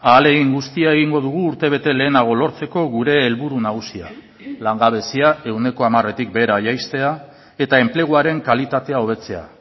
ahalegin guztia egingo dugu urtebete lehenago lortzeko gure helburu nagusia langabezia ehuneko hamaretik behera jaistea eta enpleguaren kalitatea hobetzea